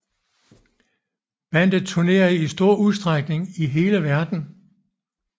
Bandet turnerer i stor udstrækning i hele verden